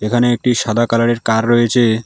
এখানে একটি সাদা কালারের কার রয়েছে।